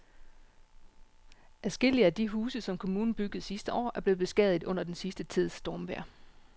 Adskillige af de huse, som kommunen byggede sidste år, er blevet beskadiget under den sidste tids stormvejr.